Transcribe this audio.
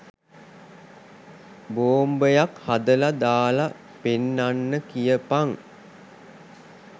බෝම්බයක් හදලා දාලා පෙන්නන්න කියපන්